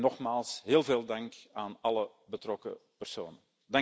Nogmaals heel veel dank aan alle betrokken personen.